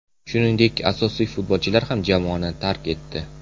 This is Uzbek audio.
Shuningdek, asosiy futbolchilar ham jamoani tark etdi.